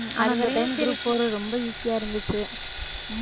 இந்த time group four ரொம்ப easy ஆ இருந்துச்சு